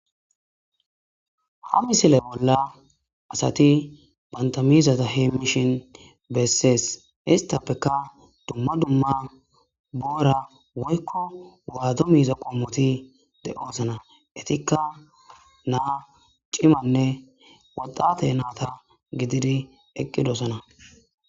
Ha misile bolla asati bantamizata heemishin bessees histappeka dumma dumma boora woykko waado miiza qommoti de'oosana itikka naa cimanne waxate naata gididi eqqidosana.